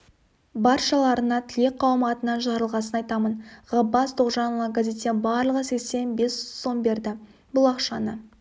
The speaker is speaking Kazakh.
баршаларына тілек қауымы атынан жарылғасын айтамын ғаббас тоғжанұлы газеттен барлығы сексен бес сом берді бұл ақшаны